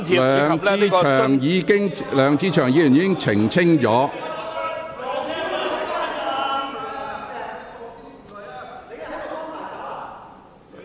梁志祥議員已經作出澄清。